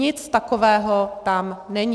Nic takového tam není.